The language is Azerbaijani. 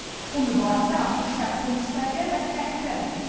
Bu mübarizə artıq şəxsi müstəviyə və təhqirə də keçib.